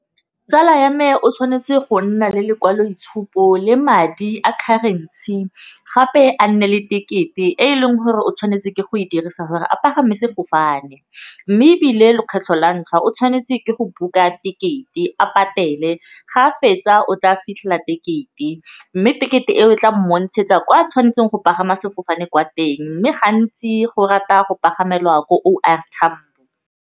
Tsala ya me o tshwanetse go nna le lekwalo itshupo le madi a currency, gape a nne le tekete e eleng gore o tshwanetse ke go e dirisa gore a pagama sefofane, mme ebile lekgetlho la ntlha o tshwanetse ke go book-a ticket a patele ga a fetsa o tla tekete. Mme tekete e o tla montshetsa kwa tshwanetseng go pagama sefofane kwa teng mme gantsi go rata go paganyelwa ko O R Tambo.